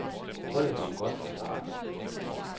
Holdet kom godt fra start.